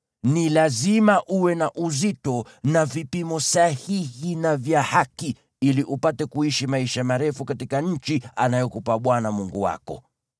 Ni lazima uwe na uzito na vipimo sahihi na vya haki, ili upate kuishi maisha marefu katika nchi anayokupa Bwana Mungu wako.